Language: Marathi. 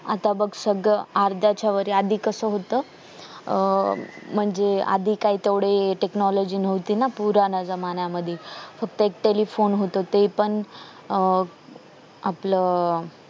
आता बघ सगळं अर्ध्याच्या वर आहे आधी सगळं कस होत अह म्हणजे आधी काही तेवढी technology नव्हती ना पुराण्या जमान्यामध्ये फक्त एक टेलिफोन होत अह ते पण एक आपल